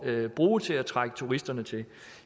at bruge til at trække turisterne til